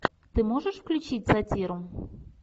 ты можешь включить сатиру